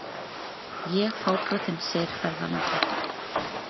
Ég fábrotinn, segir ferðalangur.